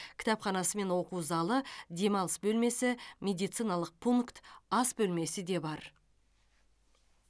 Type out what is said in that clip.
кітапханасы мен оқу залы демалыс бөлмесі медициналық пункт ас бөлмесі де бар